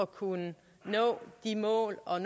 kunne nå de mål og